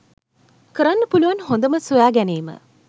කරන්න පුලුවන් හොඳම සොයා ගැනීම‍.